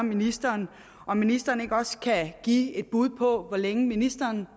ministeren om ministeren ikke også kan give et bud på hvor længe ministeren